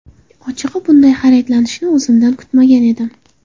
Ochig‘i, bunday hayratlanishni o‘zimdan kutmagan edim.